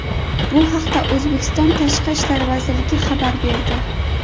Bu haqda O‘zbekiston Tashqi ishlar vazirligi xabar berdi .